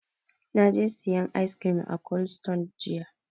Na je sayan ice cream a cold stone jiya.